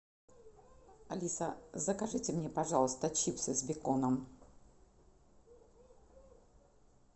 алиса закажите мне пожалуйста чипсы с беконом